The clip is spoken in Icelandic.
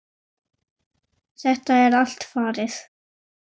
Þetta er allt farið.